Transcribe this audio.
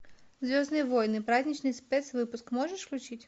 звездные войны праздничный спецвыпуск можешь включить